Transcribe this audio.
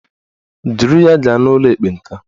Duru ya gaa n'ụlọ ekpenta!